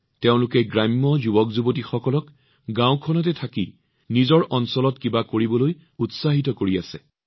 তেওঁ গ্ৰামাঞ্চলৰ যুৱকযুৱতীসকলক গাওঁতে থাকি অঞ্চলটোত কিবা এটা কৰিবলৈ উৎসাহিত কৰি আছে